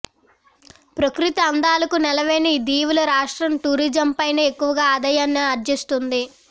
ప్రకృతి అందాలకు నెలవైన ఈ దీవుల రాష్ట్రం టూరిజంపైనే ఎక్కవ ఆదాయాన్నిఅర్జిస్తోంది